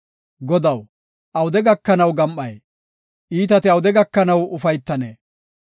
Godaw, awude gakanaw gam7ay? Iitati awude gakanaw ufaytanee?